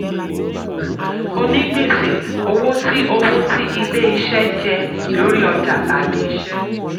onígbèsè: owó tí owó tí ilé-iṣẹ́ jẹ um lórí ọjà tàbí iṣẹ́.